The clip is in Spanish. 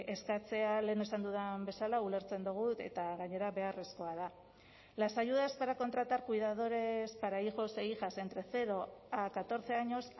eskatzea lehen esan dudan bezala ulertzen dugu eta gainera beharrezkoa da las ayudas para contratar cuidadores para hijos e hijas entre cero a catorce años